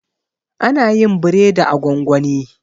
ana yin biredi a gwangwani